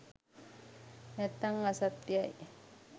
නැත්නං අසත්‍යයි